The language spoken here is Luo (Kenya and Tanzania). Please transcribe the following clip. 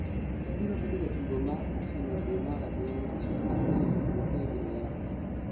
obiro bedo jatugo mar Arsenal due mar abiriyo chiro mar nyiewo jotugo ka ibiro yaw